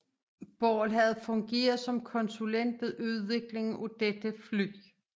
Ball havde fungeret som konsulent ved udviklingen af dette fly